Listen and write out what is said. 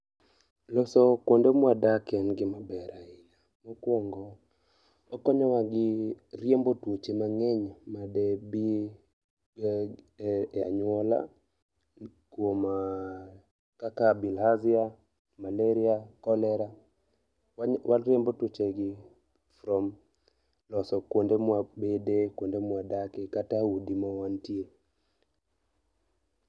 Loso kuonde mwadake en gima ber ahinya, mokuongo okonyowa gi riembo tuoche mang'eny made bi e anyuola kuom kaka bilharzia malaria, cholera, wariembo tuoche gi from loso kuodde mawabede, kuonde mawadake kata udi mawantie